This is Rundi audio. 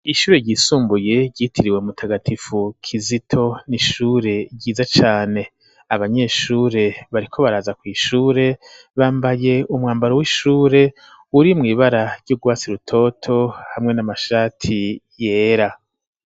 Ishure ryisumbuye ryitiriwe mutagatifu kizito n'ishure ryiza cane abanyeshure bariko baraza kw'ishure bambaye umwambaro w'ishure uri mu ibara ry'ugwatsi rutoto hamwe n'amashati yera.